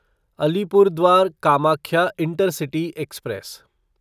Alipurduar Kamakhya intercity express